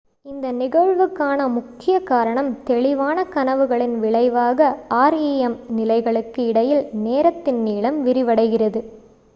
இந்த நிகழ்வுக்கான முக்கிய காரணம் தெளிவான கனவுகளின் விளைவாக rem நிலைகளுக்கு இடையில் நேரத்தின் நீளம் விரிவடைகிறது